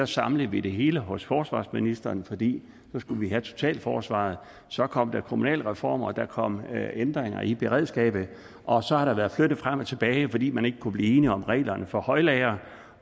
samlede vi det hele hos forsvarsministeren fordi nu skulle vi have totalforsvaret så kom der kommunalreformer og der kom ændringer i beredskabet og så har der været flyttet frem og tilbage fordi man ikke kunne blive enige om reglerne for højlagre